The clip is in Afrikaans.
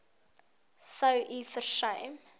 sou u versuim